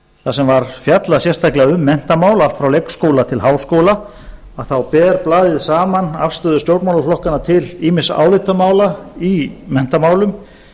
þar sem var fjallað sérstaklega um menntamál allt frá leikskóla til háskóla þar ber blaðið saman afstöðu stjórnmálaflokkanna til ýmissa álitamála í menntamálum